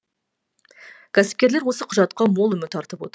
кәсіпкерлер осы құжатқа мол үміт артып отыр